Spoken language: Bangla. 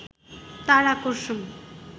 তার আকর্ষণ